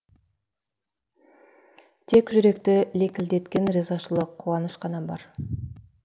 тек жүректі лекілдеткен ризашылық қуаныш қана бар